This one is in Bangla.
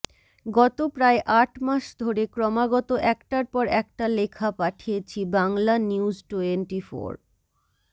গত প্রায় আট মাস ধরে ক্রমাগত একটার পর একটা লেখা পাঠিয়েছি বাংলানিউজটোয়েন্টিফোর